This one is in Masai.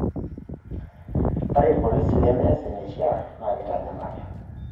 Ore irpolisi lemeeas eneishiaa naa keitanyamali.